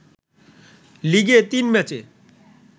লিগে তিন ম্যাচে